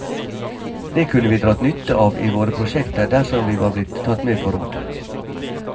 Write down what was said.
Det kunne vi dratt nytte av i våre prosjekter dersom vi var blitt tatt med på råd.